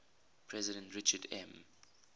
president richard m